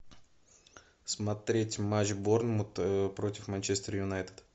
смотреть матч борнмут против манчестер юнайтед